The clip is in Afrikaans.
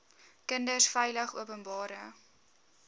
kinders veilig openbare